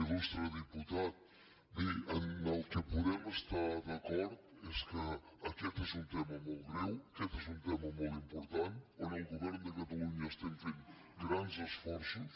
il·tat bé en el que podem estar d’acord és que aquest és un tema molt greu aquest és un tema molt important en què el govern de catalunya estem fent grans esforços